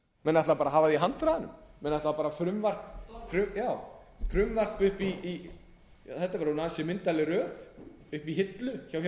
menn ætla bara að hafa það í handraðanum menn ætla bara já frumvarp upp í hillu þetta er orðin ansi myndarleg